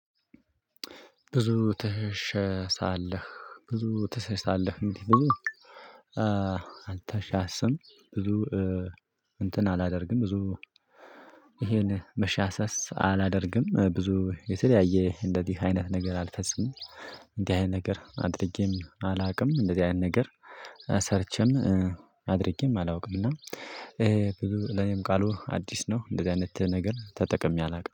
ብዙ ትሸሸሳለህ ብዙ ትሸሸሳለህ እንዲህ ብዙ አንተ ሻሰም ብዙ እንትን አላደርግም ብዙ ይሄን መሻሰስ አላደርግም ብዙ የተለያየ እንደዚህ አይነት ነገር አልፈጽምም። እንደዚህ አይነት ነገር አድርጌም አላውቅም እንደዚህ አይነት ነገር። ሰርቼም አድርጌም አላውቅም። እና ለኔም ቃሉ አዲስ ነው። እንደዚህ አይነት ነገር ተጠቅሜ አላውቅም